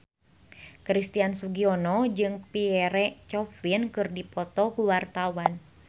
Christian Sugiono jeung Pierre Coffin keur dipoto ku wartawan